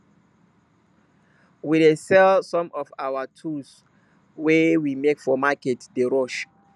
we dey sell some of our tools wey we make for market day rush